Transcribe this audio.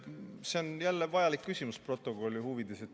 See on protokolli huvides vajalik küsimus.